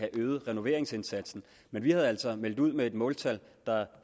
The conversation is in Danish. øge renoveringsindsatsen vi havde altså meldt ud med et måltal der